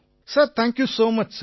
sir thank you so much sir